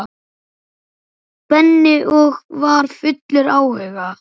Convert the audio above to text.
Benni og var fullur áhuga.